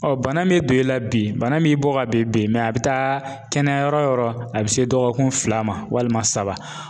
Ɔ bana min don i la bi, bana min bɔ ka bin a be taa kɛnɛya yɔrɔ wo yɔrɔ ,a be se dɔgɔkun fila ma walima saba.